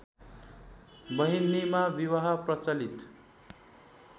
बहिनीमा विवाह प्रचलित